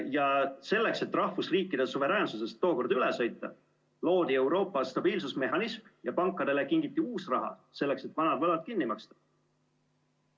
Ja selleks, et rahvusriikide suveräänsusest tookord üle sõita, loodi Euroopa stabiilsusmehhanism ja pankadele kingiti uus raha, selleks et vanad võlad kinni maksta.